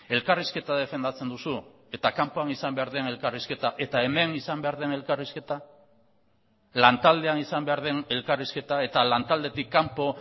elkarrizketa defendatzen duzu eta kanpoan izan behar den elkarrizketa eta hemen izan behar den elkarrizketa lan taldean izan behar den elkarrizketa eta lan taldetik kanpo